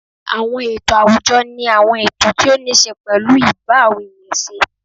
Àwọn ètò àwùjọ ni àwọn ètò tí ó níṣe pẹ̀lú ì bá àwọn èèyàn ṣe